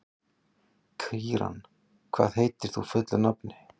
Kíran, hvað heitir þú fullu nafni?